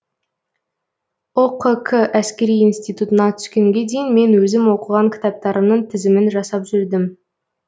ұқк әскери институтына түскенге дейін мен өзім оқыған кітаптарымның тізімін жасап жүрдім